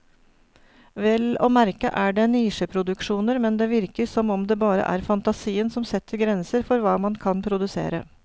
Vel å merke er det nisjeproduksjoner, men det virker som om det bare er fantasien som setter grenser for hva man kan produsere.